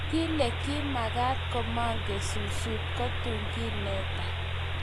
Kile kimakeet kimangen susut kotum kiineta